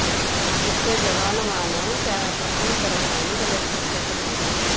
ଜିତ ଯବାନମାନେ ପ୍ରଥମଥର ପାଇଁ ବୁଲେଟ୍ ପ୍ରୁଫ୍ ଜ୍ୟାକେଟ୍ ପିନ୍ଧିବେ